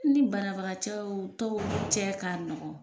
N ni banabagacɛw tɔw cɛ ka nɔgɔn.